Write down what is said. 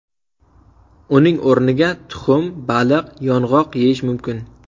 Uning o‘rniga tuxum, baliq, yong‘oq yeyish mumkin.